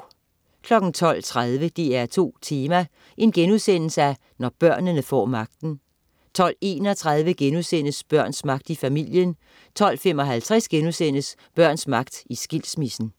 12.30 DR2 Tema: Når børnene får magten* 12.31 Børns magt i familien* 12.55 Børns magt i skilsmissen*